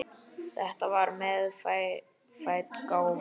Þetta var meðfædd gáfa.